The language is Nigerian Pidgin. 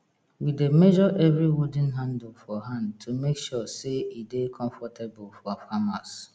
we dey measre evri wooden handle for hand to make sure say e dey comfortable for farmers